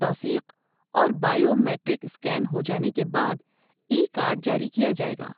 توثیق اور biometric scan ہو جانے کے بعد ای کارڈ جاری کیا جائے گا۔